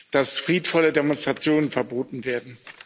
dass friedvolle Demonstrationen verboten werden.